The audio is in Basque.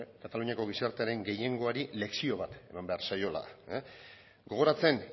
kataluniako gizartearen gehiengoari lezio bat eman behar zaiola gogoratzen